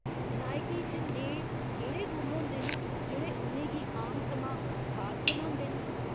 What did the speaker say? नायकें च नेहे केह्ड़े गुण होंदे न जेह्ड़े उ'नें गी आम थमां खास बनांदे न?